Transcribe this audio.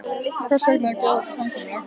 Hvers vegna að gera þetta samkomulag?